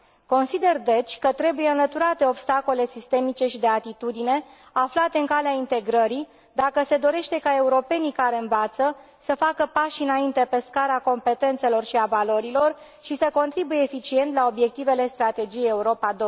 Consider deci, că trebuie înlăturate obstacolele sistemice și de atitudine aflate în calea integrării, dacă se dorește ca europenii care învață să facă pași înainte pe scara competențelor și a valorilor, și să contribuie eficient la obiectivele strategiei Europa